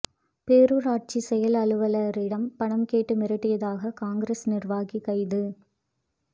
பேரூராட்சி செயல் அலுவலரிடம் பணம் கேட்டு மிரட்டியதாக காங்கிரஸ் நிர்வாகி கைது